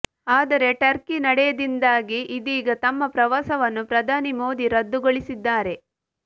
ಆದರೆ ಟರ್ಕಿ ನಡೆಯಿಂದಾಗಿ ಇದೀಗ ತಮ್ಮ ಪ್ರವಾಸವನ್ನು ಪ್ರಧಾನಿ ಮೋದಿ ರದ್ದುಗೊಳಿಸಿದ್ದಾರೆ